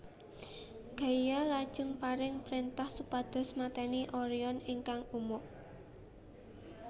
Gaia lajeng paring prentah supados mateni Orion ingkang umuk